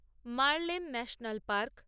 মার্লেন national park